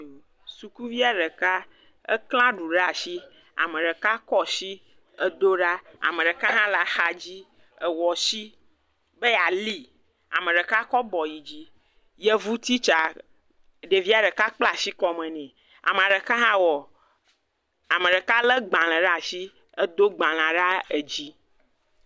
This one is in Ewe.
Sukuvia ɖeka aklẽ aɖu ɖe asi ame ɖeka kɔ asi edo ɖa ame ɖeka hã le axa dzi ewɔ asi be yeali, ame ɖeka kɔ abɔ yi dzi, yevu titsa, ekpla asi kɔme nɛ, ame ɖeka khã wɔ, ame ɖeka lé gbalẽ ɖe asi edo gbalẽ ɖe edzi.